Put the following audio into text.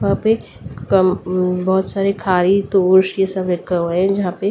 वहां पे कम बहुत सारे खारी तोस ये सब लगा हुआ है यहां पे --